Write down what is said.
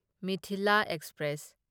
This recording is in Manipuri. ꯃꯤꯊꯤꯂꯥ ꯑꯦꯛꯁꯄ꯭ꯔꯦꯁ